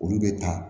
Olu bɛ taa